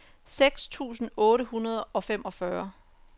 seks tusind otte hundrede og femogfyrre